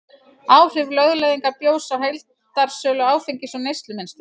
Áhrif lögleiðingar bjórs á heildarsölu áfengis og neyslumynstur